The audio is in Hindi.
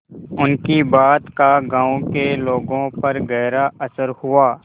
उनकी बात का गांव के लोगों पर गहरा असर हुआ